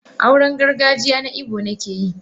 Auren gargajiya na Igbo nake yi.